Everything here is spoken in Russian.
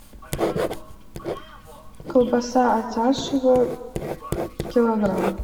колбаса атяшево килограмм